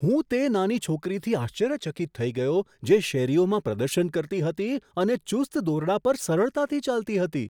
હું તે નાની છોકરીથી આશ્ચર્યચકિત થઈ ગયો જે શેરીઓમાં પ્રદર્શન કરતી હતી અને ચુસ્ત દોરડા પર સરળતાથી ચાલતી હતી.